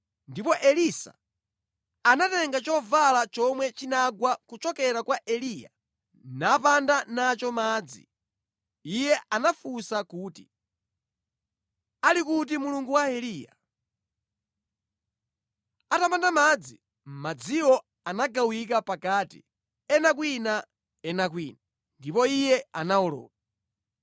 Ndipo Elisa anatenga chovala chomwe chinagwa kuchokera kwa Eliya napanda nacho madzi. Iye anafunsa kuti, “Ali kuti Mulungu wa Eliya?” Atapanda madzi, madziwo anagawika pakati, ena kwina ena kwina, ndipo iye anawoloka.